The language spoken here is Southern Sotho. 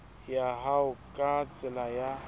ya hao ka tsela ya